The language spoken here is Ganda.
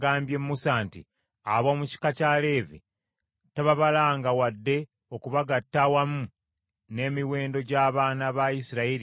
“Ab’omu kika kya Leevi tababalanga wadde okubagatta awamu n’emiwendo gy’abaana ba Isirayiri abalala.”